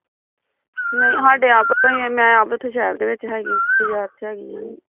ਸਾਡੇ ਆਪਾਂ ਮੈਂ ਉੱਥੇ ਆਪ ਸਹਿਰ ਦੇ ਵਿੱਚ ਬਜ਼ਾਰ ਦੇ ਵਿੱਚ ਹੈਗੀ ਆ ਬਜ਼ਾਰ ਚ ਹੈਗੀ ਆ